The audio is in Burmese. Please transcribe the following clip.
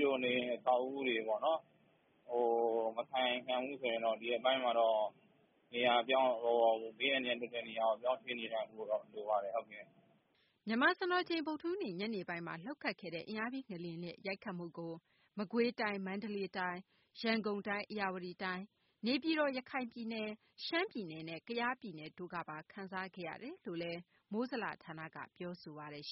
လို့ မိမိတို့နေတဲ့ အဆောက်အအုံတွေ မခိုင်ခံ့ဘူးဆိုရင်တော့ ဘေးအန္တရာယ် လွတ်တဲ့နေရာကို ပြောင်းရွှေ့နေထိုင်ဖို့ လိုပါတယ်။” မြန်မာစံတော်ချိန် ဗုဒ္ဓဟူးနေ့ ညနေပိုင်းမှာ လှုပ်ခတ်ခဲ့တဲ့ အင်အားပြင်း ငလျင်ရဲ့ ရိုက်ခတ်မှုကို မကွေးတိုင်း၊ မန္တလေးတိုင်း၊ ရန်ကုန်တိုင်း၊ဧရာဝတီတိုင်း၊ နေပြည်တော်၊ ရခိုင်ပြည်နယ် ၊ ရှမ်း ပြည်နယ်နဲ့ ကယားပြည်နယ်တို့ပါ ခံစားခဲ့ရတယ်လို့လည်း မိုးဇလ ဌာနက ပြောဆိုပါတယ်။